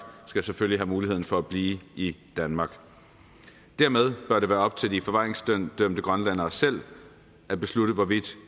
skal selvfølgelig have muligheden for at blive i danmark dermed bør det være op til de forvaringsdømte grønlændere selv at beslutte hvorvidt